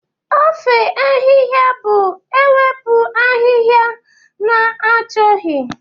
Ifo ahihia bụ ewepụ ahịhịa na-achọghị.